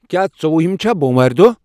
کیا ژوٚوُہٕم چھا بوم وارِ دوہ ؟